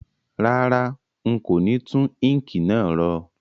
Rárá, n kò ni tun ink náà ro